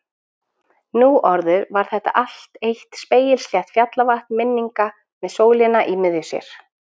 Nú orðið var þetta allt eitt spegilslétt fjallavatn minninga með sólina í miðju sér.